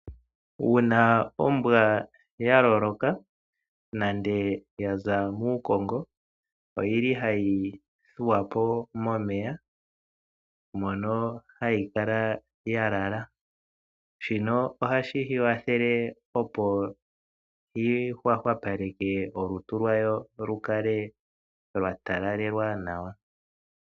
Uuna ombwa ya loloka nande ya za muukongo oyili hayi thuwa po momeya mono hayi kala ya lala. Shino ohashi yi kwathele opo yi hwahwapaleke olutu lwayo lu kale lwa talalelwa nawa.